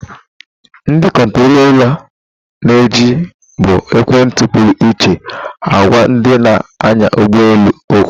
Ndị kontrọla na-eji bụ ekwentị pụrụ iche agwa ndị na-anya ụgbọ elu okwu.